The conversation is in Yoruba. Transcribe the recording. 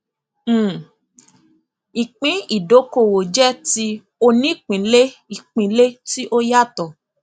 um ìpín ìdókòwò jẹ ti onípínlẹìpínlẹ tí ó yàtọ